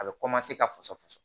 A bɛ ka fasɔsɔ